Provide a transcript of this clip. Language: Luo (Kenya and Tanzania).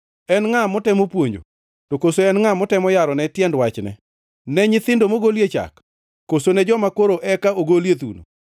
“En ngʼa motemo puonjo? To koso en ngʼa ma otemo yarone tiend wachne? Ne nyithindo mogolie chak, koso ne joma koro eka ogolie thuno?